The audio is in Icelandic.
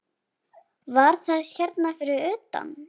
Var það hérna fyrir utan?